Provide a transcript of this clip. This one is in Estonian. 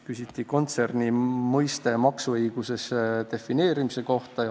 Küsiti kontserni mõiste maksuõiguses defineerimise kohta.